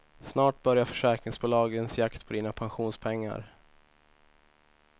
Snart börjar försäkringsbolagens jakt på dina pensionspengar.